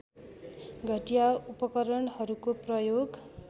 घटिया उपकरणहरूको प्रयोग